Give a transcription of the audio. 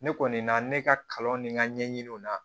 Ne kɔni na ne ka kalan nin n ka ɲɛɲiniw na